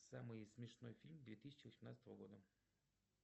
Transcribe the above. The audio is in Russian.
самый смешной фильм две тысячи восемнадцатого года